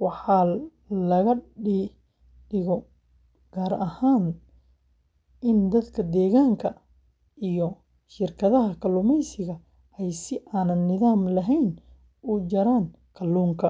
Waxa laga digo gaar ahaan in dadka deegaanka iyo shirkadaha kalluumaysiga ay si aan nidaam lahayn u jaraan kalluunka.